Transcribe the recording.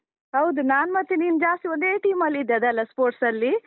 ಹೌದು, ನಾನ್ ಮತ್ತೆ ನೀನು ಜಾಸ್ತಿ ಒಂದೇ team ಅಲ್ಲಿ ಇದ್ದದ್ದಲ್ಲ sports ಅಲ್ಲಿ?